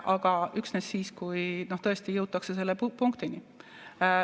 Aga üksnes siis, kui tõesti jõutakse selle punktini.